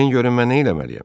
Deyin görün mən nə eləməliyəm?